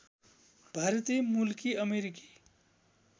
भारतीय मूलकी अमेरिकी